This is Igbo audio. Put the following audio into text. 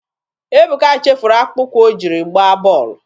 Ebuka chefuru akpụkpọ ụkwụ o jiri gbaa bọọlụ.